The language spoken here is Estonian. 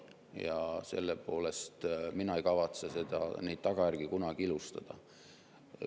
Ja selle poolest mina ei kavatse neid tagajärgi kunagi ilustada.